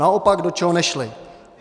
Naopak, do čeho nešly?